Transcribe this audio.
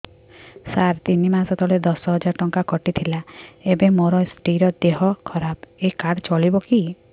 ସାର ତିନି ମାସ ତଳେ ଦଶ ହଜାର ଟଙ୍କା କଟି ଥିଲା ଏବେ ମୋ ସ୍ତ୍ରୀ ର ଦିହ ଖରାପ ଏ କାର୍ଡ ଚଳିବକି